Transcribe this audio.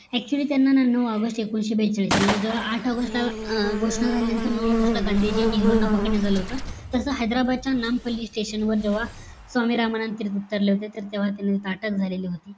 actually त्यांना नऊ AUGUST एकोणीशे बेचाळीस म्हणजे जेव्हा आठ AUGUST ला घोषणा झाल्यानंतर नऊ AUGUST ला गांधीजी नेहरूंना पकडण्यात आलं होत तस हैद्राबादच्या नामपलि station वर जेव्हा स्वामी रामानंद तीर्थ उतरले होते तर तेव्हा त्यांना तिथे अटक झाली होती.